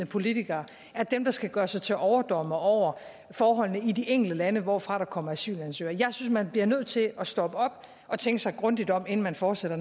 politikere skal gøre sig til overdommere over forholdene i de enkelte lande hvorfra der kommer asylansøgere jeg synes man bliver nødt til at stoppe op og tænke sig grundigt op inden man fortsætter